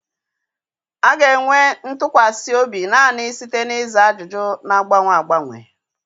A ga-enweta ntụkwasị obi naanị site na ịza ajụjụ na-agbanwe agbanwe.